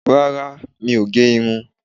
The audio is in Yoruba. Rárá, mi ó gé irun.